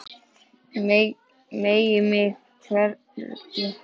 Megi mig hvergi hræra.